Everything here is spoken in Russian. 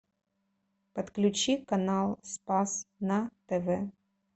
подключи канал спас на тв